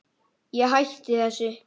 Ég hætti þessu.